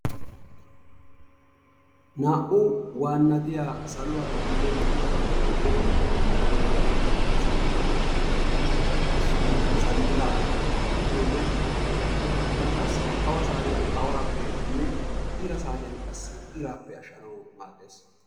Naa"u waannatiyaa saluwara duge yiiyabata teeqqanawu nuuni go"ettiyo so buquratuppe issoy zanxilaa gidiyoode gallassi awa saatiyaan awapenne ira saatiyaan qassi iraappe ashshanawu maaddees.